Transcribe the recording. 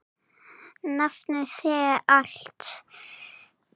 Nafnið segir allt.